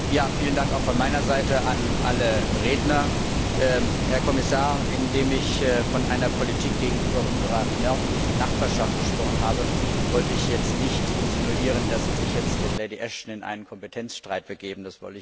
Frau Präsidentin! Vielen Dank auch von meiner Seite an alle Redner! Herr Kommissar, indem ich von einer Politik gegenüber unserer nördlichen Nachbarschaft gesprochen habe, wollte ich jetzt nicht insinuieren, dass Sie sich jetzt mit Lady Ashton in einen Kompetenzstreit begeben.